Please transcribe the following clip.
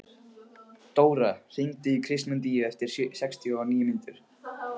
Dóra, hringdu í Kristmundínu eftir sextíu og níu mínútur.